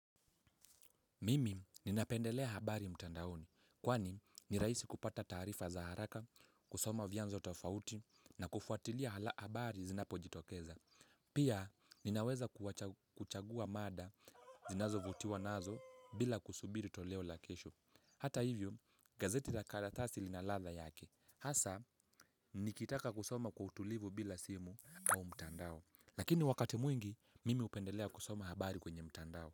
Mimi ninapendelea habari mtandaoni, kwani nirahisi kupata taarifa za haraka, kusoma vianzo tofauti na kufuatilia habari zinapo jitokeza. Pia, ninaweza kuchagua mada ninazo vutiwa nazo bila kusubiri toleo la kesho. Hata hivyo, gazeti la karatasi linaladha yake. Hasa, nikitaka kusoma kwa utulivu bila simu au mtandao. Lakini wakati mwingi, mimi hupendelea kusoma habari kwenye mtandao.